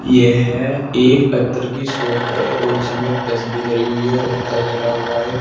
यह एक अत्र की शॉप है और इसमें तस भी धरी हुई है और अत्र धरा हुआ है।